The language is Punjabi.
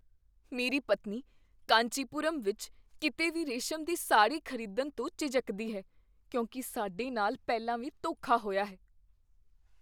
ਮੇਰੀ ਪਤਨੀ ਕਾਂਚੀਪੁਰਮ ਵਿੱਚ ਕਿਤੇ ਵੀ ਰੇਸ਼ਮ ਦੀ ਸਾੜੀ ਖ਼ਰੀਦਣ ਤੋਂ ਝਿਜਕਦੀ ਹੈ ਕਿਉਂਕਿ ਸਾਡੇ ਨਾਲ ਪਹਿਲਾਂ ਵੀ ਧੋਖਾ ਹੋਇਆ ਹੈ।